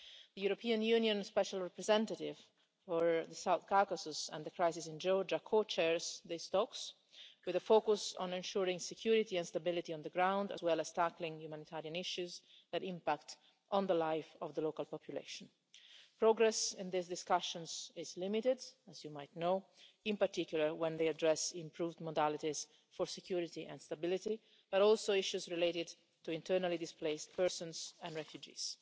The European Union special representative for the South Caucasus and the crisis in Georgia co chairs these talks, with a focus on ensuring security and stability on the ground, as well as tackling humanitarian issues that impact on the life of the local population. Progress in these discussions is limited, as you might know, in particular when they address improved modalities for security and stability, but also issues related to internally displaced persons and refugees.